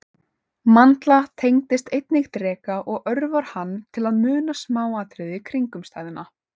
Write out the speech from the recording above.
Mandla tengist einnig dreka og örvar hann til að muna smáatriði kringumstæðna.